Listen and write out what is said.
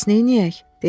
Bəs neyləyək?